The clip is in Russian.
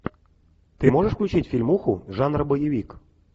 ты можешь включить фильмуху жанра боевик